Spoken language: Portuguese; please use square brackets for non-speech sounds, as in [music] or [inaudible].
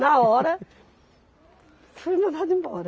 Na hora, [laughs] fui mandada embora.